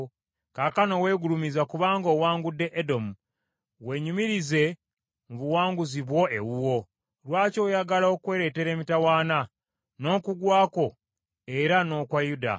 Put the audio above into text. Kaakano wegulumizza kubanga owangudde Edomu. Wenyumirize mu buwanguzi bwo ewuwo. Lwaki oyagala okweleetera emitawaana, n’okugwa kwo era n’okwa Yuda?”